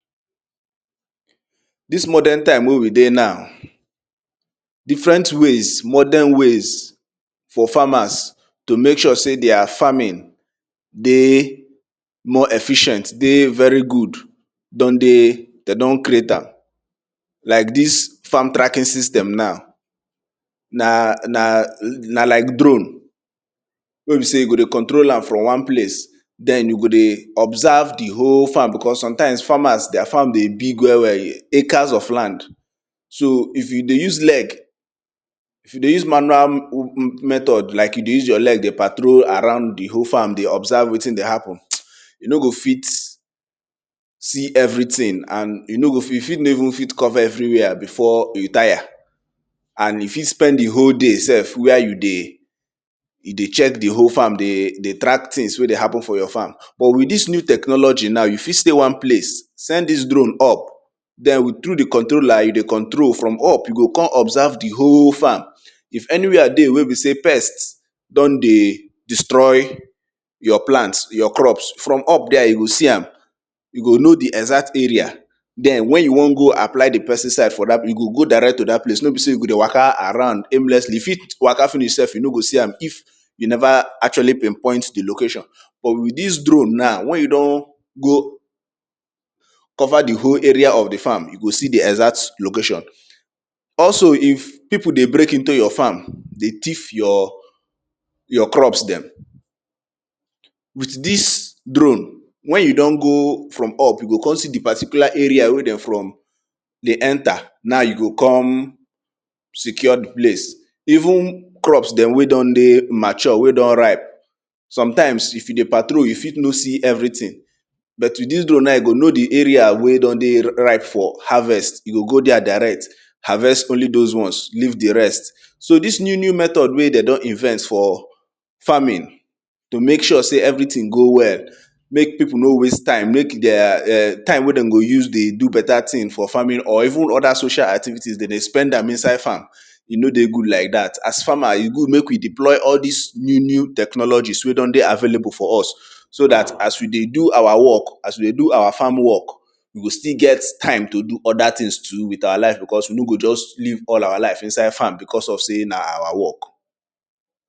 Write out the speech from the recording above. Dis modern time wey we dey now, different ways modern ways for farmers to mek sure sey their farming dey more efficient, dey very good don dey de don creat am like dis farm tracking system now na like drone wey be sey we go dey control am from one place den we go dey observe di whole farm becase some farmers, their farm dey big well well acres of land. So if you dey use leg, if you dey use manual method like you dey use your leg dey patrol dey observe wetin dey happen, you no go fit see wetin dey happen and you fit no even cover everywhere before you tire and you fit spend di whole day self where you dey track things wey dey happen for your farm. But dis new technology now you fit stat one place send dis done up through di controller, you go control from up you go kon observe di whole farm. If anywhere dey if pest don dey destroy your plant your crops, from up there you go see am, you go know di exert area. Den wen you won go apply di pesticide for that place you go go direct to dat place no be sey you go dey waka around aimlessly. you fit waka self you no go see am if you neva actually pin poin di location. But with dis dron naw wen you don go cover di whle area of di farm, you go see di ecert location. Also if pipu dey break into your farm, dey thief your crops dem, with dis drone wen you don go from up, you go kon see di particular area where de dey enter, na you go kon secure di place. Even crops wey don dey mature wey don ripe, sometime if you dey patrol, you fit no see everything. But with dis drop you go know di area wey don dey ripe for harvest. You go go there diret harvest only those ones leave di rest. so dis new new method wey de don invest for farming tomek sure sey everything go well mek pipu no waste time mek time wey dem go use dey do beta thing for farming or even other social activities de dey spend am inside farm, e no dey good like dat. As farmer, e good mek we deploy all dis new new technologies wey don dey available for us so dat as we dey do our work, as we dey do our farm work mek we dey do other tjhings with our life because we no go just live inside farm because of sey na our work.